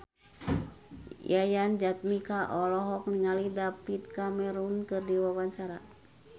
Yayan Jatnika olohok ningali David Cameron keur diwawancara